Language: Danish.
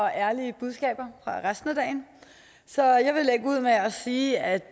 ærlige budskaber resten af dagen så jeg vil lægge ud med at sige at